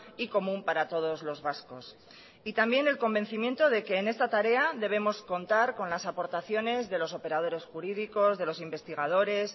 y común para todos los vascos también el convencimiento de que en esta tarea debemos contar con las aportaciones de los operadores jurídicos de los investigadores